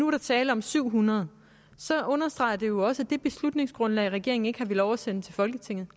er tale om syv hundrede understreger det jo også at det beslutningsgrundlag regeringen ikke har villet oversende til folketinget